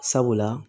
Sabula